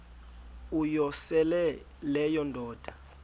uyosele leyo indoda